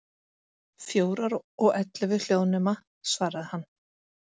Fjórar, og ellefu hljóðnema, svaraði hann.